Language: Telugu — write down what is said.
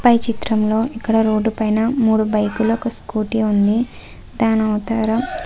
పై చిత్రంలో ఇక్కడ రోడ్డు పైన మూడు బైక్ లు ఒక స్కూటీ ఉంది. దాని అవతల --